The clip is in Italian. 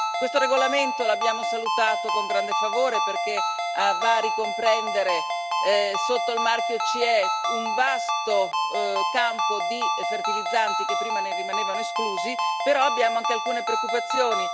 Questo regolamento l'abbiamo salutato con grande favore, perché va a ricomprendere sotto il marchio CE un vasto campo di fertilizzanti che prima ne rimanevano esclusi, però abbiamo anche alcune preoccupazioni.